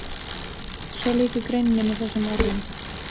Svo lýkur greininni með þessum orðum